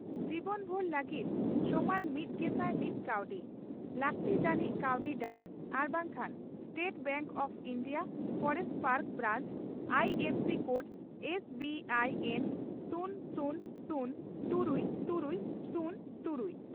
ᱡᱤᱵᱚᱱᱵᱷᱩᱨ ᱞᱟᱹᱜᱤᱫ ᱥᱚᱢᱟᱱ ᱢᱤᱛᱜᱮᱥᱟᱭ ᱢᱤᱛ ᱠᱟᱣᱰᱤ ᱾ᱞᱟᱹᱠᱛᱤ ᱡᱟᱹᱱᱤᱡ ᱠᱟᱹᱣᱰᱤ ᱰᱟᱠ ᱟᱨ ᱵᱟᱝᱠᱷᱟᱱ state bank of India forest park branch I F C code -S B I N ᱥᱩᱱ ᱥᱩᱱ ᱥᱩᱱ ,ᱛᱩᱨᱩᱭ ᱛᱩᱨᱩᱭ ,ᱥᱩᱱ ᱛᱩᱨᱩᱭ